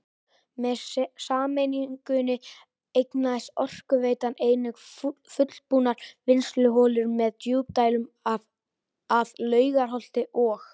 Með sameiningunni eignaðist Orkuveitan einnig fullbúnar vinnsluholur með djúpdælum að Laugarholti og